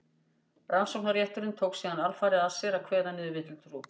rannsóknarrétturinn tók síðan alfarið að sér að kveða niður villutrú